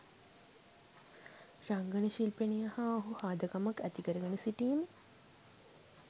රංගන ශිල්පිනිය හා ඔහු හාදකමක් ඇතිකරගෙන සිටීම